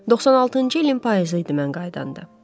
96-cı ilin payızı idi mən qayıdanda.